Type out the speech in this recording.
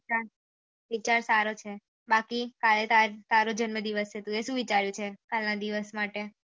વિચાર સારો છે બાકી તારો જન્મ દિવસ છે તુયે શું વિચારીયું છે કાલ ના દિવસ માટે